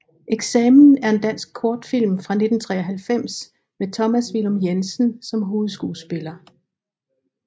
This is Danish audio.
Eksamen er en dansk kortfilm fra 1993 med Thomas Villum Jensen som hovedskuespiller